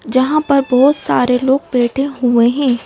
जहां पर बहोत सारे लोग बैठे हुए हैं।